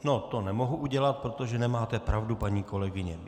No, to nemohu udělat, protože nemáte pravdu, paní kolegyně.